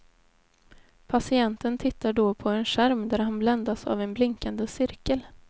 Patienten tittar då på en skärm där han bländas av en blinkande cirkel.